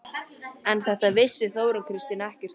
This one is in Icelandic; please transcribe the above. En þetta vissi Þórunn Kristín ekkert um.